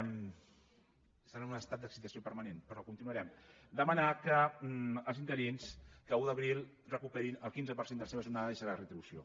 estan en un estat d’excitació permanent però continuarem demanar que els interins l’un d’abril recuperin el quinze per cent de la seva jornada i de la seva retribució